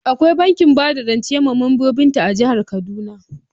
Akwai bankin bada rance mabambanta a jihar Kaduna.